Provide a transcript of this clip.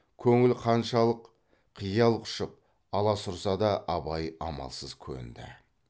көңіл қаншалық қиял құшып аласұрса да абай амалсыз көнді